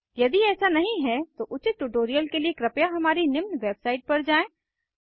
यदि ऐसा नहीं है तो उचित ट्यूटोरियल के लिए कृपया हमारी निम्न वेबसाईट पर जाएँ